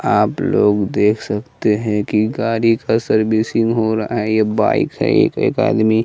आप लोग देख सकते हैं की गाड़ी का सर्विसिंग हो रहा है यह बाइक है एक एक आदमी--